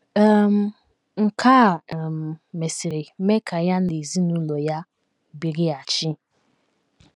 um Nke a um mesịrị mee ka ya na ezinụlọ ya birighachi.